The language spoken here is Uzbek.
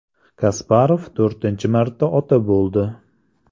Kasparov to‘rtinchi marta ota bo‘ldi.